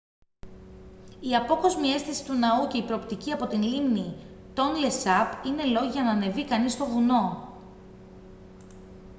η απόκοσμη αίσθηση του ναού και η προοπτική από την λίμνη τόνλε σαπ είναι λόγοι για να ανεβεί κανείς στο βουνό